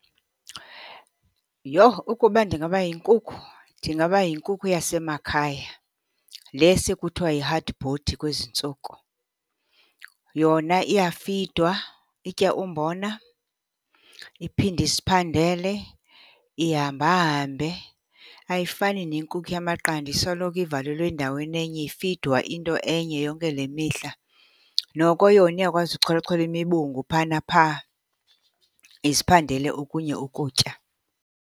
Yho! Ukuba ndingaba yinkukhu, ndingaba yinkuku yasemakhaya, le sekuthiwa yi-hard body kwezi ntsuku. Yona iyafidwa, itya umbona iphinde iziphandele, ihambahambe. Ayifani nenkukhu yamaqanda isoloko ivalelwe endaweni enye ifidwa into enye yonke le mihla, noko yona iyakwazi ukucholachola imibungu phaa naphaa iziphandele okunye ukutya.